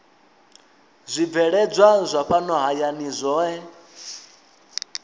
zwibveledzwa zwa fhano hayani zwohe